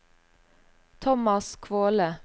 Thomas Kvåle